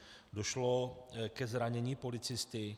Došlo ke zranění policisty.